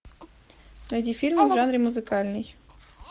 найди фильмы в жанре музыкальный